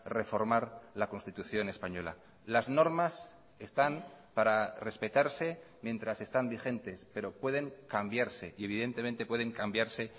reformar la constitución española las normas están para respetarse mientras están vigentes pero pueden cambiarse y evidentemente pueden cambiarse